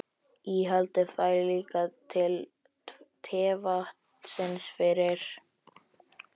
Íhaldið fær líka til tevatnsins fyrir